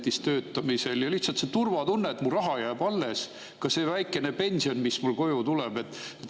Lihtsalt see turvatunne, et mu raha jääb alles, ka see väike pension, mis mulle koju tuleb.